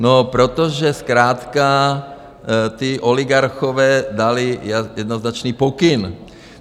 No protože zkrátka ti oligarchové dali jednoznačný pokyn.